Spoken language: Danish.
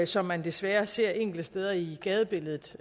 som man desværre ser enkelte steder i gadebilledet